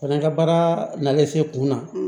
Fana ka baara nanen se kuna